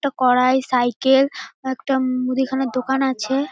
একটা কড়াই সাইকেল একটা মুদিখানা দোকান আছে।